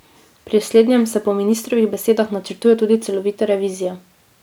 Pri slednjem se po ministrovih besedah načrtuje tudi celovita revizija.